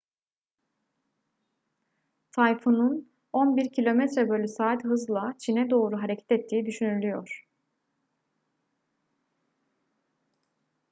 tayfunun 11 km/saat hızla çin'e doğru hareket ettiği düşünülüyor